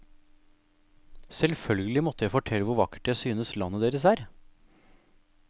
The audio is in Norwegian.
Selvfølgelig måtte jeg fortelle hvor vakkert jeg synes landet deres er.